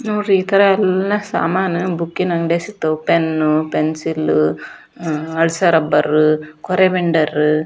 ನೋಡ್ರಿ ಈ ಥರ ಎಲ್ಲ ಸಾಮಾನ ಬುಕ್ಕಿ ನ ಅಂಗಡ್ಯಾಗ ಸಿಗತ್ವ ಪೆನ್ ಪೆನ್ಸಿಲ್ ಅಳಸೊ ರಬ್ಬರ್ ಕೋರ್ಯೋ ಮೆಂಡರ್ .